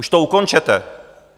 Už to ukončete!